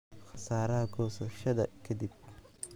Khasaaraha goosashada ka dib.